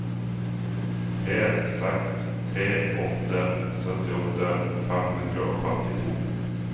tre seks tre åtte syttiåtte fem hundre og femtito